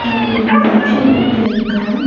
அங்க ஒரு மனுஷன் நின்னுட்டு இருக்கான்.